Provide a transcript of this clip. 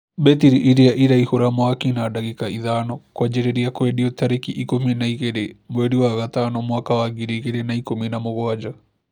Mbetiri ĩrĩa ĩraihũra mwaki na dagĩka ithano kwanjĩrĩria kwendio tarĩki ikũmi na igĩrĩ mweri wa gatano mwaka wa ngiri igĩrĩ na ikũmi na mũgwanja